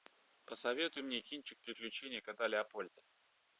посоветуй мне кинчик приключение кота леопольда